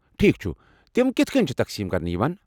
ٹھیک چُھ، تِم کِتھ کٕنۍ چھ تقسیم كرنہٕ یوان ؟